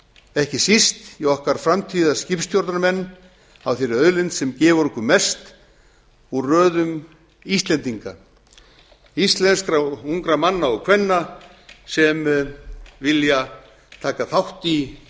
ekki síst í okkar framtíðarskipstjórnarmenn að þeirri auðlind sem gefur okkur mest úr röðum íslendinga íslenskra ungra manna og kvenna sem vilja taka þátt í